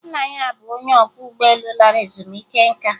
Nna ya bụ onye ọkwọ ụgbọelu lara ezumike nká